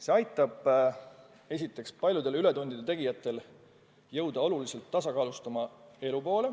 See aitab, esiteks, paljudel ületundide tegijatel hakata elama märksa tasakaalustatumat elu.